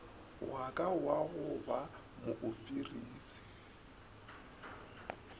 waka wa go ba moofisiri